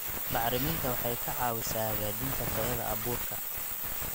Bacriminta waxay ka caawisaa hagaajinta tayada abuurka.